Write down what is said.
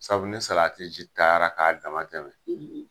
Sabu ni salati ji taara ka dama tɛmɛ